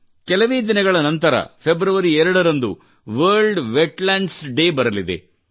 ಕೆಲವೇ ದಿನಗಳ ನಂತರ ಫೆಬ್ರವರಿ 2 ರಂದು ವರ್ಲ್ಡ್ ವೆಟ್ಲ್ಯಾಂಡ್ಸ್ ಡೇ ಬರಲಿದೆ